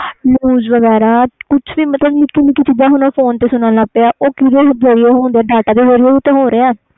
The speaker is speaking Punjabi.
news ਵੇਗਰਾ ਨਿੱਕਿਆ ਨਿੱਕਿਆ ਚੀਜ਼ਾਂ ਫੋਨ ਤੇ ਸੁਣਨ ਲੱਗ ਗਏ ਨੇ